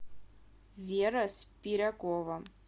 вера спирякова